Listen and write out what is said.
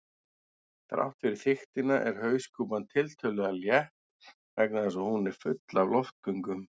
Þrátt fyrir þykktina er hauskúpan tiltölulega létt vegna þess að hún er full af loftgöngum.